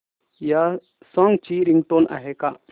या सॉन्ग ची रिंगटोन आहे का